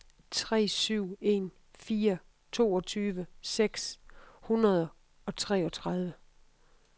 tre syv en fire toogtyve seks hundrede og treogtredive